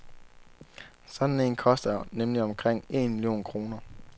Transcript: Sådan en koster nemlig omkring en million kroner.